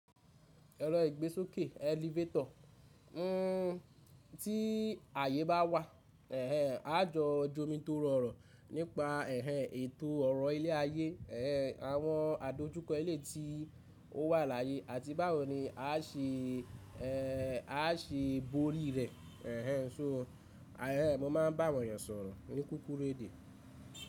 Ero igbesoke- elevator, uhn ti aye ba wa ehnehn a jo jomitoro oro, nipa ehehn eto oro ile aye, ehnehn awon adojuko eleyii ti o wa laye, ati bawo ni a se, ehh, a se bori re, ehehn Ṣo ehehn, mo maa n ba àwọn ènìyàn sọ̀rọ̀ ní kúkúrú èdè?